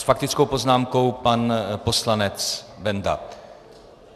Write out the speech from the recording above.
S faktickou poznámkou pan poslanec Benda.